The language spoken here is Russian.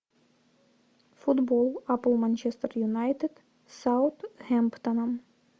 футбол апл манчестер юнайтед с саутгемптоном